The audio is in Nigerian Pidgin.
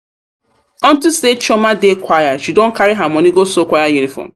unto say chioma dey choir she don carry her her money go sew choir uniform.